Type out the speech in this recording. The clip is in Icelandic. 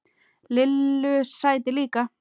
Lillu sæti líka.